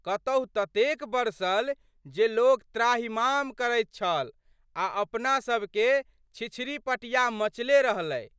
कतहु ततेक बरसल जे लोक त्राहिमाम करैत छल आ अपनासभके छिछरी-पटिया मचले रहलै।